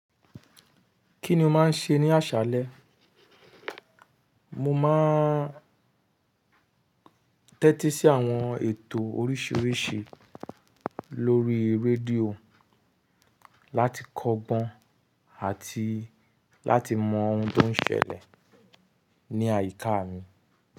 Kí ni o máa ń ṣe ní àṣálẹ? Mo máa ń tẹ́tí sí àwọn ètò oríṣiríṣi lórí rédíò láti kọ́gbọ́n àti láti mọ ohun tó ń ṣẹlẹ̀ ní àyíká mi.